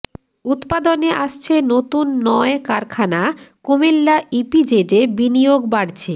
উৎপাদনে আসছে নতুন নয় কারখানা কুমিল্লা ইপিজেডে বিনিয়োগ বাড়ছে